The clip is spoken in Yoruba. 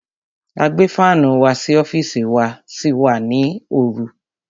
A gbé fánù wá sí ọ́fìsì wá sí wa nítorí oru.